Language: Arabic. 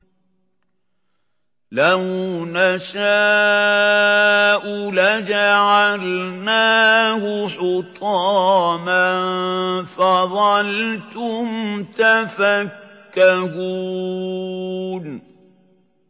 لَوْ نَشَاءُ لَجَعَلْنَاهُ حُطَامًا فَظَلْتُمْ تَفَكَّهُونَ